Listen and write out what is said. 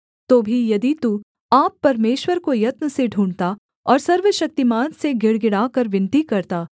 तो भी यदि तू आप परमेश्वर को यत्न से ढूँढ़ता और सर्वशक्तिमान से गिड़गिड़ाकर विनती करता